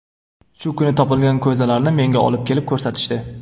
Shu kuni topilgan ko‘zalarni menga olib kelib ko‘rsatishdi.